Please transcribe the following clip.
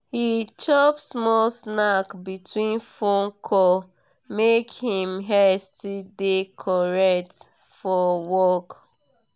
he chop small snack between phone call make him head still dey correct for work.